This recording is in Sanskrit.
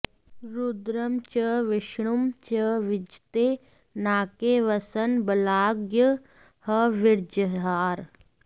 रुद्रं च विष्णुं च विजित्य नाके वसन् बलाद्यज्ञहविर्जहार